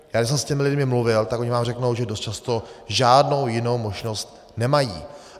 Já když jsem s těmi lidmi mluvil, tak oni vám řeknou, že dost často žádnou jinou možnost nemají.